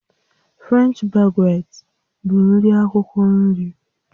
French baguette bụ nri akwukwo nri